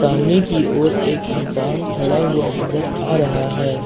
सामने की ओर एक इंसान खड़ा हुआ नजर आ रहा है।